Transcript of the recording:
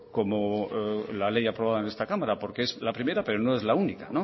como la ley aprobada en esta cámara porque es la primera pero no es la única